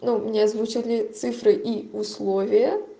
но мне озвучили цифры и условия